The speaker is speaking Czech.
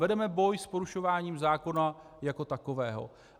Vedeme boj s porušováním zákona jako takového.